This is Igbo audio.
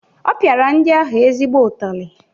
Ọ pịara ndị ahụ ezigbo ụtali.